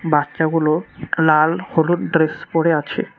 বাচ্চাগুলো লাল হলুদ ড্রেস পরে আছে।